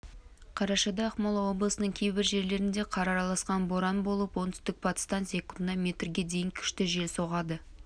қарашада ақмола облысының кейбір жерлерінде қар араласқан боран болып оңтүстік-батыстан секундына метрге дейін күшті жел соғады